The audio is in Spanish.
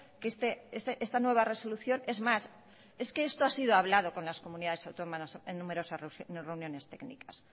que esta nueva resolución es más es que esto ha sido hablado con las comunidades autónomas en numerosas reuniones técnicas